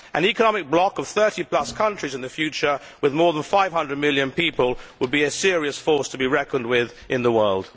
An economic block of over 30 countries in the future, with more than 500 million people, would be a serious force to be reckoned with in the world.